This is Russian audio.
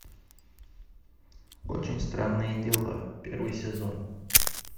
очень странные дела первый сезон